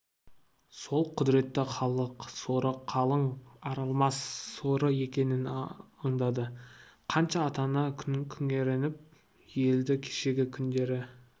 сол құдіреті халық соры қалың арылмас соры екенін аңдады қанша ата-ана күңіреніп өлді кешегі күндері